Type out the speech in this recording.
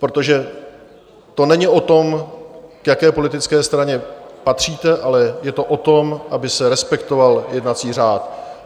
Protože to není o tom, k jaké politické straně patříte, ale je to o tom, aby se respektoval jednací řád.